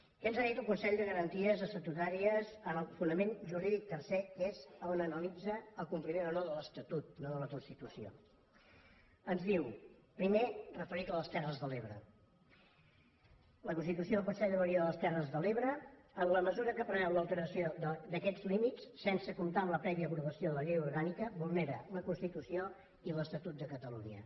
què ens ha dit el consell de garanties estatutàries en el fonament jurídic tercer que és on analitza el compliment o no de l’estatut no de la constitució ens diu primer referit a les terres de l’ebre la constitució del consell de vegueria de les terres de l’ebre en la mesura que preveu l’alteració d’aquests límits sense comptar amb la prèvia aprovació de la llei orgànica vulnera la constitució i l’estatut de catalunya